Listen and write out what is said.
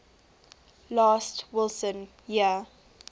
last wilson year